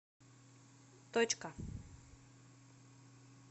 точка